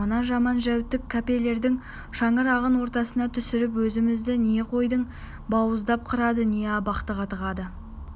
мына жаман-жәутік кепелердің шаңырағын ортасына түсіріп өзімізді не қойдай бауыздап қырады не абақтыға тығады